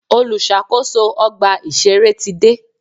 Olùṣàkóso ọgbà ìṣẹ̀rẹ́ ti dé.